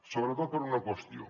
sobretot per una qüestió